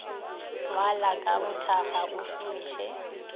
ngwala ka bothakga o šomiše